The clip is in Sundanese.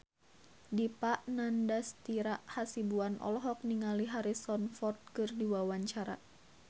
Dipa Nandastyra Hasibuan olohok ningali Harrison Ford keur diwawancara